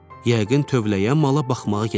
Yəqin tövləyə mala baxmağa gedib.